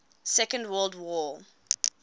second world war